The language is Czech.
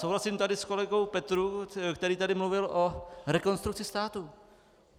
Souhlasím tady s kolegou Petrů, který tady mluvil o Rekonstrukci státu.